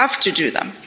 We have to do them.